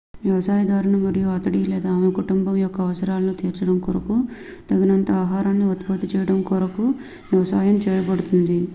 వ్యవసాయదారుని మరియు అతడి/ఆమె కుటుంబం యొక్క అవసరాలను తీర్చడం కొరకు తగినంత ఆహారాన్ని ఉత్పత్తి చేయడం కొరకు వ్యవసాయం చేయబడుతుంది